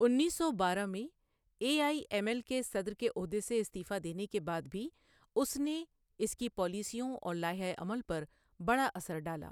انیس سو بارہ میں اے آئی ایم ایل کے صدر کے عہدے سے استعفیٰ دینے کے بعد بھی اس نے اس کی پالیسیوں اور لائحہ عمل پر بڑا اثر ڈالا۔